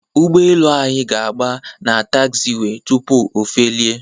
ụgbọelu anyị ga-agba na tagziwee tupu ofelie.